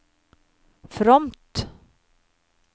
fromt